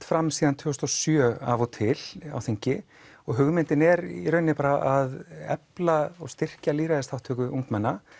fram síðan tvö þúsund og sjö af og til á þingi og hugmyndin er í rauninni að efla og styrkja lýðræðisþátttöku ungmenna